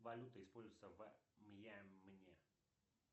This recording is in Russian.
валюта используется в мьянме